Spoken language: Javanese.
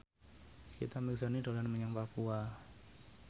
Nikita Mirzani dolan menyang Papua